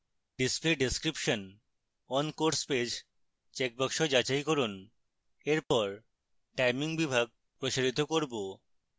display description on course page checkbox যাচাই করুন এরপর timing বিভাগ প্রসারিত করব